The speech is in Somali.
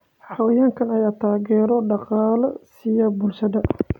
Xayawaankan ayaa taageero dhaqaale siiya bulshada.